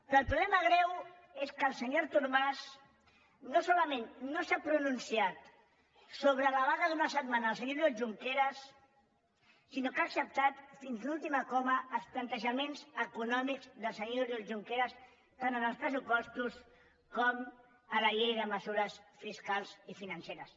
però el problema greu és que el senyor artur mas no solament no s’ha pronunciat sobre la vaga d’una setmana del senyor oriol junqueras sinó que ha acceptat fins a l’última coma els plantejaments econòmics del senyor oriol junqueras tant en els pressupostos com en la llei de mesures fiscals i financeres